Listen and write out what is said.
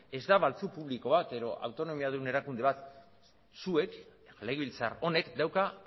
ez da baltzu publiko bat edo autonomiadun erakunde bat zuek legebiltzar honek dauka